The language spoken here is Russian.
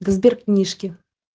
да сберкнижки